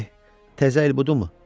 Eh, təzə il budumu?